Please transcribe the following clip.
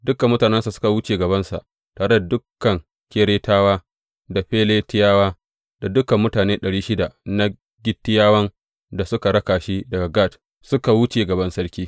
Dukan mutanensa suka wuce gabansa, tare da dukan Keretawa da Feletiyawa; da dukan mutane ɗari shida na Gittiyawan da suka raka shi daga Gat, suka wuce gaban sarki.